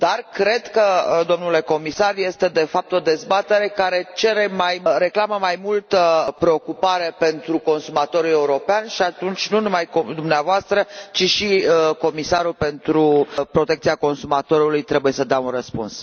Cred că, domnule comisar, este, de fapt, o dezbatere care cere, reclamă mai multă preocupare pentru consumatorul european și atunci nu numai dumneavoastră, ci și comisarul pentru protecția consumatorului trebuie să dea un răspuns.